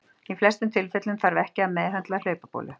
Í flestum tilfellum þarf ekki að meðhöndla hlaupabólu.